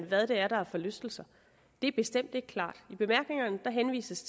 hvad det er der er forlystelser det er bestemt ikke klart i bemærkningerne henvises